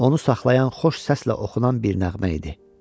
Onu saxlayan xoş səslə oxunan bir nəğmə idi.